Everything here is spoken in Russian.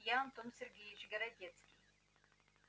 я антон сергеевич городецкий